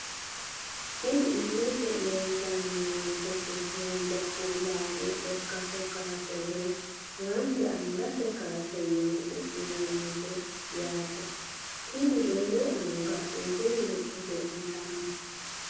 Tini ilete leeltani noonketi haanja kuulame lekate kaase woyi haanja angate kaase yine su`inanise yaaate tini roore anga wedellu godolitano.